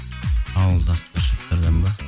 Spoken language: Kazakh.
ауылда старшактардан ба